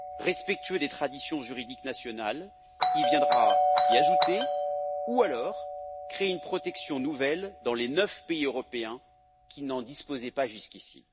Respectueux des traditions juridiques nationales, il viendra s'y ajouter ou alors créer une protection nouvelle dans les neuf pays européens qui n'en disposaient pas jusqu'ici.